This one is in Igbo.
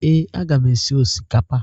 Ee, aga m esi osikapa.